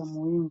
ya moyindo.